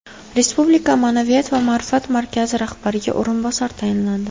Respublika Ma’naviyat va ma’rifat markazi rahbariga o‘rinbosar tayinlandi.